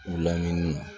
U lamini na